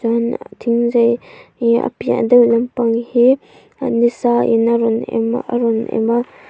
chuan thingzai hi a piah deuh lampang hi ni sain a rawn em a a rawn em a.